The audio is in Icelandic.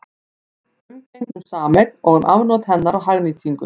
Umgengni um sameign og um afnot hennar og hagnýtingu.